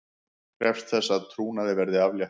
Krefst þess að trúnaði verði aflétt